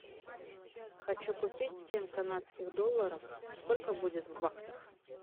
хочу купить семь канадских долларов сколько будет в баксах